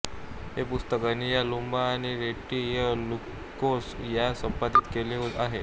हे पुस्तक अनिया लुम्बा आणि रीट्टी अ लुकोस यांनी संपादित केले आहे